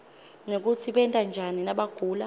nekutsi benta njani nabagula